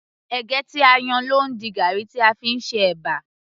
ẹ̀gẹ́ tí a yan ló ń di garri tí a fí ń ṣe ẹ̀bà